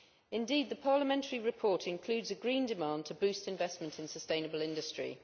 Indeed, the parliamentary report includes a Green demand to boost investment in sustainable industry.